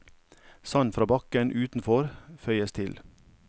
Sand fra bakken utenfor føyes til.